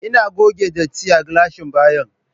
Ina goge datti a gilashin bayan